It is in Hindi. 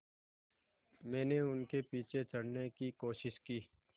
मैंने उनके पीछे चढ़ने की कोशिश की